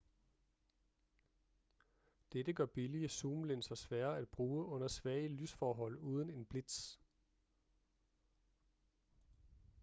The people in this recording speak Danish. dette gør billige zoomlinser svære at bruge under svage lysforhold uden en blitz